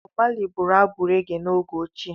Bọb Mali bụrụ abụ rege n’oge ochie.